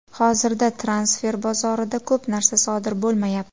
Hozirda transfer bozorida ko‘p narsa sodir bo‘lmayapti.